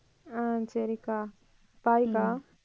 அஹ் சரிக்கா bye க்கா